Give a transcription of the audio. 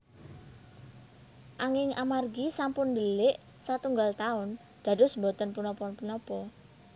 Anging amargi sampun ndelik satunggal taun dados boten punapa punapa